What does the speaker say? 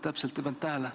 Täpselt ei pannud tähele.